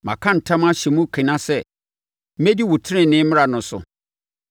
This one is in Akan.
Maka ntam ahyɛ mu kena sɛ mɛdi wo tenenee mmara no so.